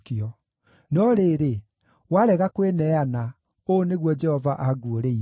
No rĩrĩ, warega kwĩneana, ũũ nĩguo Jehova anguũrĩirie: